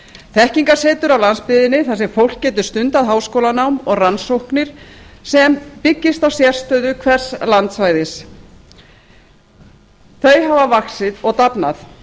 þekkingarsetur á landsbyggðinni þar sem fólk getur stundað háskólanám og rannsóknir sem byggist á sérstöðu hvers landsvæðis hafa vaxið og dafnað